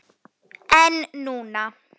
En núna.